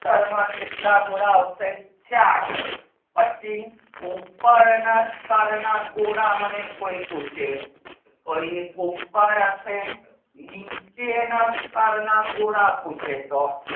કેટલા ગોળા આવશે ચાર પછી ઉપરના સ્તર ના ગોળા મને કોઈ પૂછે તો એ પોકાર હશે નીચે ના ગોળા પૂછે તો